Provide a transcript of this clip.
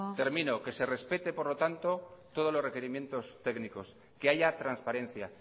termino que se respete por lo tanto todos los requerimientos técnicos que haya transparencia